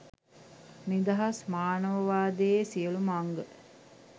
නිදහස් මානවවාදයේ සියලුම අංග